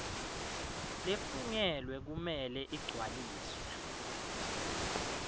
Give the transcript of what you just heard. lefungelwe kumele igcwaliswe